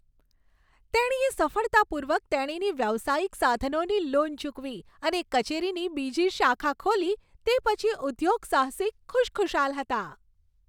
તેણીએ સફળતાપૂર્વક તેણીની વ્યવસાયિક સાધનોની લોન ચૂકવી અને કચેરીની બીજી શાખા ખોલી તે પછી ઉદ્યોગસાહસિક ખુશખુશાલ હતાં.